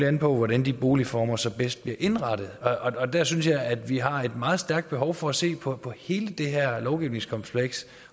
an på hvordan de boligformer så bedst bliver indrettet og der synes jeg vi har et meget stærkt behov for at se på hele det her lovgivningskompleks